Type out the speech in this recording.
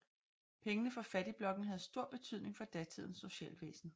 Pengene fra fattigblokken havde stor betydning for datidens socialvæsen